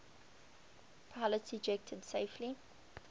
pilots ejected safely